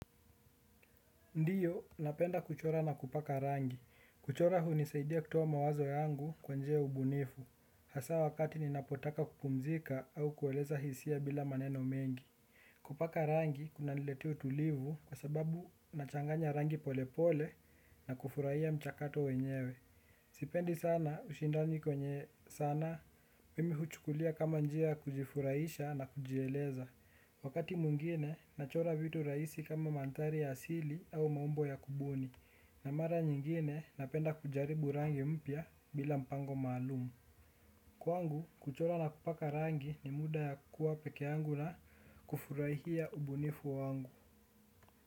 Ndio napenda kuchora na kupaka rangi. Kuchora hunisaidia kutoa mawazo yangu kwa njia ya ubunifu. Hasa wakati ninapotaka kupumzika au kueleza hisia bila maneno mengi. Kupaka rangi kuna niletea utulivu kwa sababu nachanganya rangi polepole na kufurahia mchakato wenyewe. Sipendi sana ushindani kwenye sanaa mimi huchukulia kama njia ya kujifurahisha na kujieleza. Wakati mwingine, nachora vitu rahisi kama maandhari ya asili au maumbo ya kubuni na mara nyingine napenda kujaribu rangi mpya bila mpango maalum. Kwangu, kuchora na kupaka rangi ni muda ya kuwa pekeyangu na kufurahia ubunifu wangu.